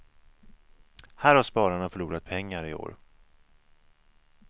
Här har spararna förlorat pengar i år.